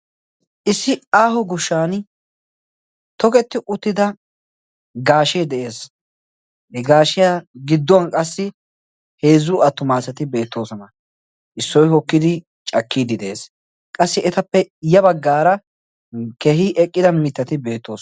issi aaho gushshan toketti uttida gaashee de7ees he gaashiyaa gidduwan qassi heezzu attumaasati beettoosona issoy hokkidi cakkiiddi de'ees qassi etappe ya baggaara keehi eqqida mittati beettooso